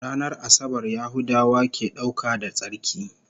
Ranar Asabar Yahudawa ke dauka da tsarki